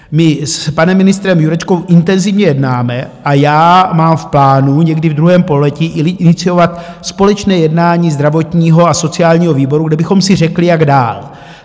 My s panem ministrem Jurečkou intenzivně jednáme a já mám v plánu někdy v druhém pololetí iniciovat společné jednání zdravotního a sociálního výboru, kde bychom si řekli, jak dál.